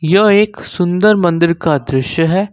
यह एक सुंदर मंदिर का दृश्य है।